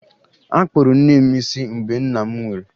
Akpụrụ nne m isi mgbe nna m nwụrụ